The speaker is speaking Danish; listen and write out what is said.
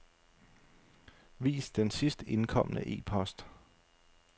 Vis den sidst indkomne e-post.